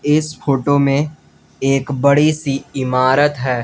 इस फोटो में एक बड़ी सी इमारत है।